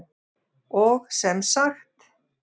Og sem sagt!